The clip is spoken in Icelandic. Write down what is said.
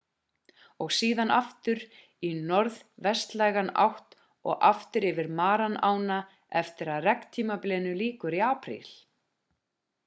og síðan aftur í norðvestlæga átt og aftur yfir mara-ána eftir að regntímabilinu lýkur í apríl